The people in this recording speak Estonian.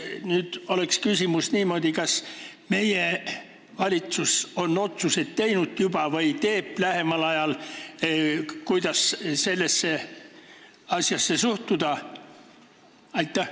Küsimus oleks niimoodi: kas meie valitsus on juba teinud või teeb lähemal ajal otsuse, kuidas sellesse asjasse suhtuda?